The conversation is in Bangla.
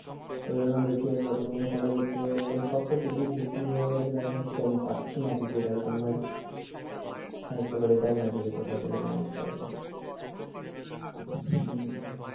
এইজন্য দেখি একবার ধোনীর খেলা দেখতে যাবো বলে সব তো ticket বিক্রি হয়ে গেছে দেখাচ্ছে আমি পাচ্ছিনা ticket একদম ভাই হ্যা একটু খালি দেখনা যদি কোথাও থেকে manage করা যায় হম